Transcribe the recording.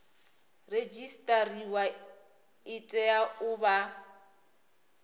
redzisiṱariwa i tea u vha